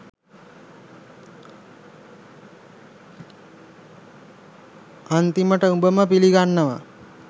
අන්තිමට උබම පිලිගන්නවා